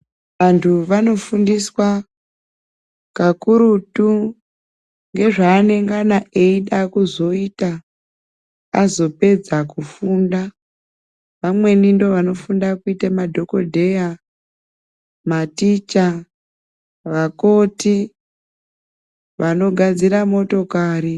Antu vanofundiswa kakurutu ngezvaanengana eida kuzoita azopedza kufunda vamweni ndovanofunda kuita madhokodheya maticha vakoti vanogadzira motokari.